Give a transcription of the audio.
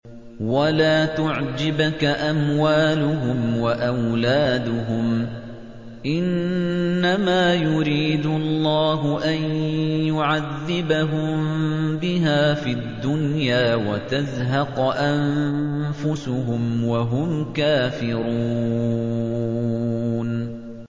وَلَا تُعْجِبْكَ أَمْوَالُهُمْ وَأَوْلَادُهُمْ ۚ إِنَّمَا يُرِيدُ اللَّهُ أَن يُعَذِّبَهُم بِهَا فِي الدُّنْيَا وَتَزْهَقَ أَنفُسُهُمْ وَهُمْ كَافِرُونَ